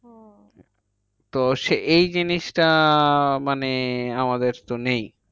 তো সে এই জিনিসটা মানে আমাদের তো নেই।